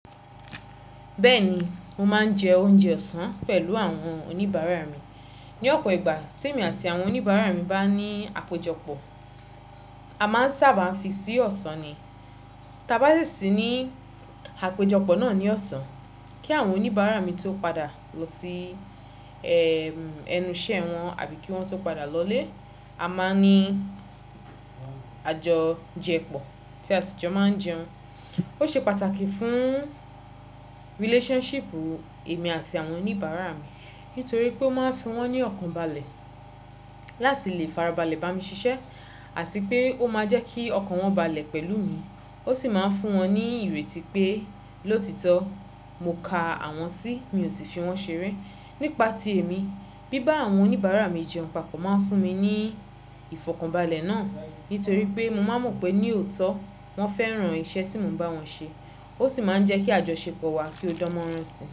Bẹ́ẹ̀ ni, mo máa ń jẹ oúnjẹ ọ̀sán pẹ̀lú àwọn oníbàárà mi. Ní ọ̀pọ̀ ìgbà tí èmi àti àwọn oníbàárà mi bá ní àpéjọpọ̀, a máa ń sábà fi sí ọ̀sán ni. Taa bá sì sí ní àpéjọpọ̀ náà ní ọ̀sán, kí àwọn oníbàárà mi tó padà lọ sí ẹ́ ẹnu iṣẹ́ wọn àbí kí wọ́n tó padà lọlé, a máa ní àjọjẹpọ̀ tí àtijọ́ máa ń jẹun. Ó ṣe pàtàkì fún relationship èmi àti àwọn oníbàárà mi nítorí pé ó máa ń fi wọ́n ní ọ̀kan balẹ̀ láti lè farabalẹ̀ bá mi ṣiṣẹ́ àti pé ó máa jẹ́ kí ọkàn wọn balẹ̀ pẹ̀lú mi. Ó sì máa ń fún wọn ní ìrètí pé lótitọ mo ka àwọn sí mi ò sì fi wọ́n ṣeré. Nípa ti èmi, bí bá àwọn oníbàárà mi jẹun papọ̀ máa ń fún mi ní ìfọ̀kànbalẹ̀ náà nítorí pé mo máa mọ̀ pé ní òótọ́ wọ́n fẹ́ràn iṣẹ́ tí mo ń bá wọn ṣe. Ó sì máa ń jẹ́ kí àjọṣepọ̀ wa kí ó dánmọ́rán si.